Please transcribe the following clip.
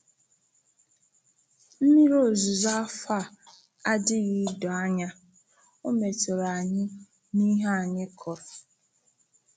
Mmiri ozuzo afọ a adịghị dọọ anya, o metụrụ anyị n’ihe anyị kụrụ.